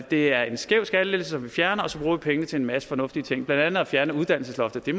det er en skæv skattelettelse som vi fjerner og så pengene til en masse fornuftige ting blandt at fjerne uddannelsesloftet det